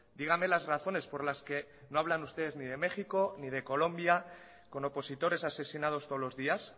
dígame las razones por las que no hablan ustedes ni de méxico ni de colombia con opositores asesinados todos los días